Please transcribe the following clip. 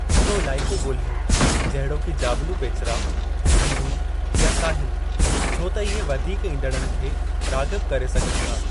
हिकिड़ो इलाइक़ो ॻोल्हियो जहिड़ोकि जाबिलू पेचरा, ढंढूं, या साहिल, छो त इहे वधीक ईंदड़नि खे राग़िब करे सघनि था।